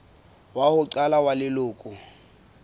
wa ho qala wa leloko